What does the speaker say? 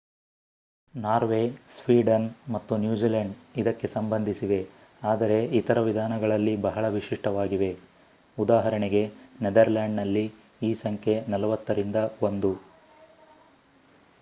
Norway Sweden ಮತ್ತು New Zealand ಇದಕ್ಕೆ ಸಂಬಂಧಿಸಿವೆ ಆದರೆ ಇತರ ವಿಧಾನಗಳಲ್ಲಿ ಬಹಳ ವಿಶಿಷ್ಟವಾಗಿವೆ ಉದಾಹರಣೆಗೆ ನೆದರ್‌ಲ್ಯಾಂಡ್‌ನಲ್ಲಿ ಈ ಸಂಖ್ಯೆ 40 ರಿಂದ 1